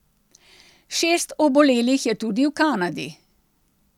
Šest obolelih je tudi v Kanadi.